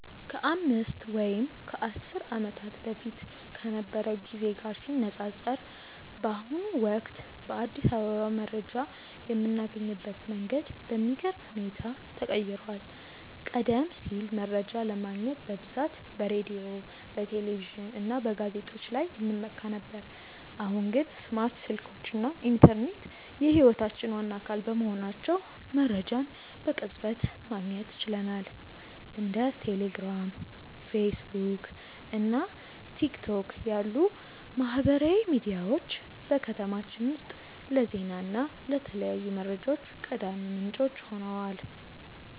ከአምስት ወይም ከአስር ዓመታት በፊት ከነበረው ጊዜ ጋር ሲነፃፀር፣ በአሁኑ ወቅት በአዲስ አበባ መረጃ የምናገኝበት መንገድ በሚገርም ሁኔታ ተቀይሯል። ቀደም ሲል መረጃ ለማግኘት በብዛት በሬዲዮ፣ በቴሌቪዥን እና በጋዜጦች ላይ እንመካ ነበር፤ አሁን ግን ስማርት ስልኮች እና ኢንተርኔት የህይወታችን ዋና አካል በመሆናቸው መረጃን በቅጽበት ማግኘት ችለናል። እንደ ቴሌግራም፣ ፌስቡክ እና ቲክቶክ ያሉ ማህበራዊ ሚዲያዎች በከተማችን ውስጥ ለዜና እና ለተለያዩ መረጃዎች ቀዳሚ ምንጮች ሆነዋል።